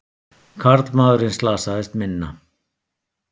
Karlmaðurinn slasaðist minna